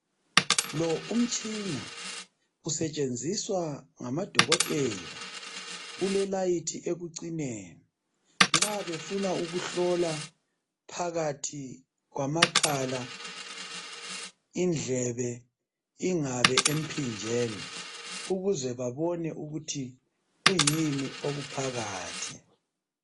Lo umtshina usetshenziswa ngamadokotela ulelayithi ekucineni nxa befuna ukuhlola phakathi kwamakhala indlebe ingabe emphinjeni ukuze babone ukuthi kuyini okuphakathi